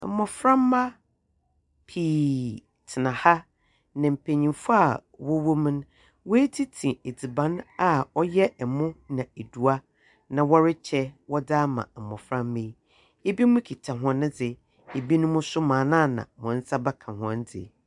Mboframba pii tsena ha, na mpanyimfo a wɔwɔ mu no, woetsitsi edziban a ɔyɛ emo na eduwa na wɔrekyɛ wɔdze ama mboframba yi, binom kitsa hɔndze, binom so mbrɛana hɔn nsa bɛka hɔndze.